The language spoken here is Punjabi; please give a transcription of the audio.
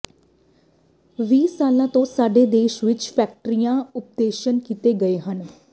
ਵੀਹ ਸਾਲਾਂ ਤੋਂ ਸਾਡੇ ਦੇਸ਼ ਵਿਚ ਫੈਕਟਰੀਿੰਗ ਓਪਰੇਸ਼ਨ ਕੀਤੇ ਗਏ ਹਨ